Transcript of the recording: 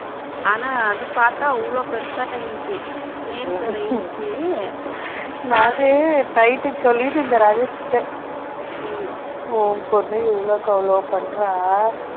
ஆனா இத பாத்தா இவ்ளோ பெருசா இருந்துச்சு nail வேற இருந்துச்சு நான் night சொல்லிட்டு இருந்தேன் ராஜேஷ் கிட்ட உன் பொண்ண எவ்வளவு பண்ற